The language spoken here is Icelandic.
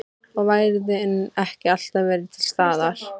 Og værðin ekki alltaf verið til staðar.